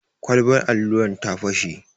Kwalbar alluran ta fashe.